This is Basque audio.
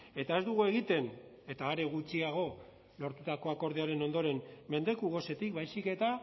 eta ez dugu egiten eta are gutxiago lortutako akordioaren ondoren mendeku gosetik baizik eta